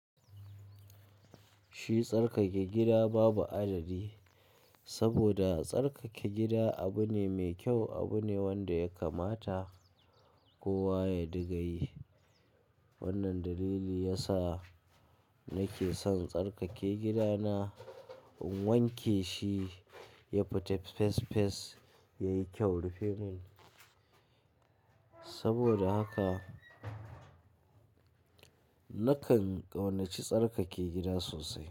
Shi tsarkake gida babu adadi, saboda tsarkake gida abu ne mai kyau, abu ne wanda ya kamata kowa ya dinga yi. Wannan dalili ya sa nake son tsarkake gidana, in wanke shi ya fita fes fes yayi kyau rufe mun. Saboda haka, nakan ƙaunaci tsarkake gida sosai.